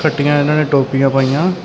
ਚਿੱਟੀਆਂ ਇਹਨਾਂ ਨੇ ਟੋਪੀਆਂ ਪਾਈਆਂ।